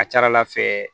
A ka ca ala fɛ